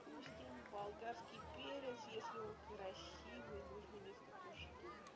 пустим болгарский перец если он красивый нужно несколько штук